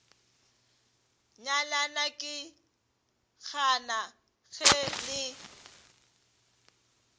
nyalana ke gana ge le